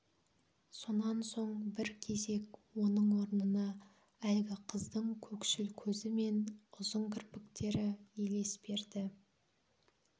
сонан соң бір кезек оның орнына әлгі қыздың көкшіл көзі мен ұзын кірпіктері елес берді